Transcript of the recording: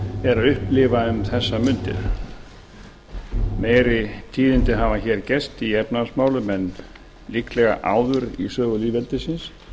er að upplifa um þessar mundir meiri tíðindi hafa hér gerst í efnahagsmálum en líklega áður í sögu lýðveldisins jafnvel